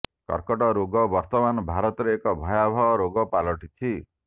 କର୍କଟ ରୋଗ ବର୍ତ୍ତମାନ ଭାରତରେ ଏକ ଭୟାବହ ରୋଗ ପାଲଟିଛି